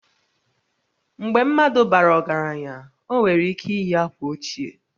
Mgbe mmadụ bara ọgaranya, o nwere ike iyi akwa ochie